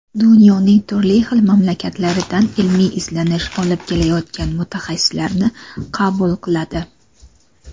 dunyoning turli xil mamlakatlaridan ilmiy izlanish olib borayotgan mutaxassislarni qabul qiladi.